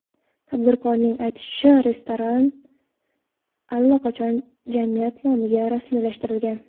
Tadbirkorning aytishicha, restoran allaqachon jamiyat nomiga rasmiylashtirilgan.